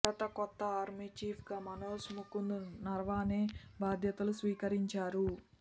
భారత కొత్త ఆర్మీ చీఫ్గా మనోజ్ ముకుంద్ నరవానే బాధ్యతలు స్వీకరించారు